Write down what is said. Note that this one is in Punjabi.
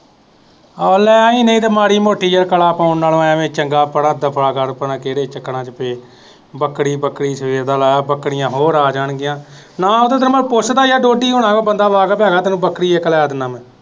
ਆ ਲੈਣੀ ਨਹੀਂ ਤਾਂ ਮਾੜੀ ਮੋਟੀ ਯਾਰ ਕਲਾ ਪਾਉਣ ਨਾਲੋਂ ਐਵੇਂ ਚੰਗਾ, ਪਰਾ ਦਫਾ ਕਰ, ਪਰ ਕਿਹੜੇ ਚੱਕਰਾਂ ਚ ਪਏ, ਬੱਕਰੀ ਬੱਕਰੀ ਸਵੇਰ ਦਾ ਲਾਇਆ ਹੋੲੋਆ, ਬੱਕਰੀਆਂ ਹੋਰ ਆ ਜਾਣਗੀਆਂ, ਨਾਂ ਉਦੋਂ ਤੇਰਾ ਮੈਂ ਪੁੱਛਦਾ ਯਾਰ ਡੋਡੀ ਹੋਰਾਂ ਤੋਂ ਬੰਦਾ ਵਾਕਫ ਹੈਗਾ ਤੈਨੂੰ ਬੱਕਰੀ ਵੀ ਇੱਕ ਲੈ ਦਿੰਦਾ ਮੈਂ